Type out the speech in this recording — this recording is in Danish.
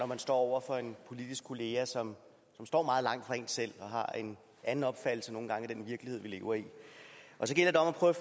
man står over for en politisk kollega som står meget langt fra en selv og har en anden opfattelse af den virkelighed vi lever i så gælder det om at prøve